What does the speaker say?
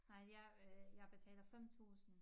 Nej jeg øh jeg betaler 5 tusind